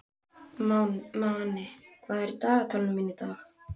Manni, hvað er í dagatalinu mínu í dag?